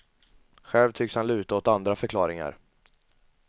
Själv tycks han luta åt andra förklaringar.